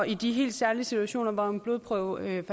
i de helt særlige situationer hvor en blodprøve